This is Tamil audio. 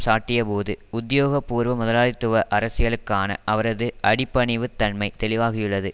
சாட்டியபோது உத்தியோகபூர்வ முதலாளித்துவ அரசியலுக்கான அவரது அடிபணிவுத் தன்மை தெளிவாகியுள்ளது